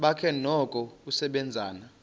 bakhe noko usasebenza